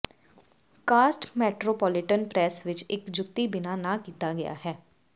caste metropolitan press ਵਿੱਚ ਇੱਕ ਜੁੱਤੀ ਬਿਨਾ ਨਾ ਕੀਤਾ ਗਿਆ ਹੈ